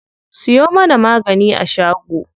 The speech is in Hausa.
Siyo mana magani a shago.